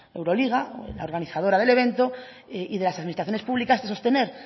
euroliga la organizadora del evento y de las administraciones públicas de sostener